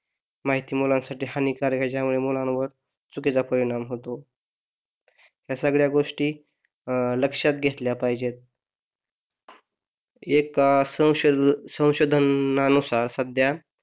माहिती मुलांसाठी हानिकारक आहे, त्यामुळे मुलांवर चुकीचा परिणाम होतो त्या सगळ्या गोष्टी अं लक्षात घेतल्या पाहिजेत एका संशॊ संशोधनानुसार सध्या,